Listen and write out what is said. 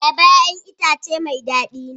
Ayaba 'ya'yan itace mai dadi ne.